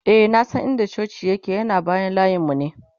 e na San in da cocin yake ,yana bayan layinmu ne